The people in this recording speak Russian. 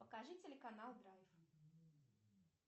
покажи телеканал драйв